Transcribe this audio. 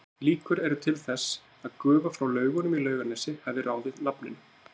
Líkur eru til þess að gufa frá laugunum í Laugarnesi hafi ráðið nafninu.